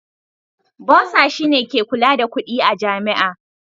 Bursar shine ke kula da kudi a Jami'a.